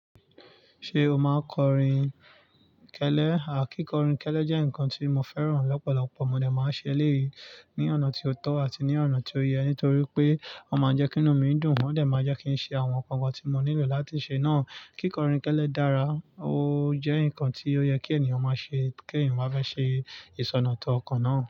Ṣé o máa kọrin kẹ́lẹ́? Àkíkọrin kẹ́lẹ́ jẹ́ nǹkan tí mo fẹ́ràn lọ́pọ̀lọpọ̀. Mo dè máa n ṣe eléyìí ní ọ̀nà tí ó tọ́ àti ní ọ̀nà tí ó yẹ, nítorí pé ó máa ń jẹ́ kí inú mi dùn. Wọ́n lè máa jẹ́ kí n ṣe àwọn nǹkan kan tí mo nílò láti ṣe náà. Kíkọrin kẹ́lẹ́ dára, ó jẹ́ nǹkan tí ó yẹ kí ènìyàn máa ṣe kí ènìyàn máa fẹ́ ṣe ìsọ̀ndotunà tó ọkàn náà.